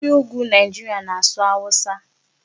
Ndị Ugwu Nigeria na-asụ Hausa.